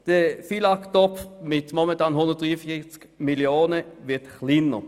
Der FILAG-Topf von gegenwärtig 143 Mio. Franken wird kleiner.